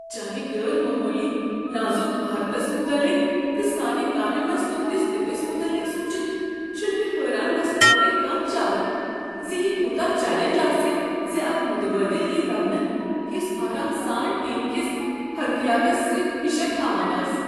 چانہ غیر معمولی نازک مہارتس متعلق تہٕ سٲنہِ کامہ منٛز تہندس دتس متعلق سوچتھ چھُنہ مےٚ حیران گژھنہ ورٲے کانہہ چارہ زیہِ كوٗتاہ چلینج آسہِ زِ اكھ متبٲدل یہِ لبنہٕ یس آرام سان ٹیم كِس حركیاتس سٕتۍ ہشر تھاوان آسہ۔